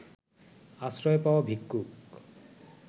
আশ্রয় পাওয়া ভিক্ষুক